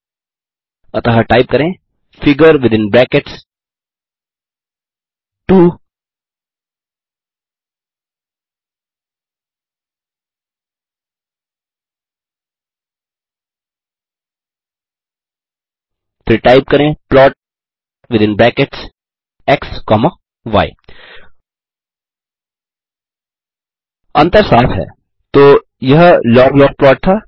अतः टाइप करें figure within brackets 2 फिर टाइप करें plot within brackets x comma y अंतर साफ़ हैतो यह log log प्लॉट था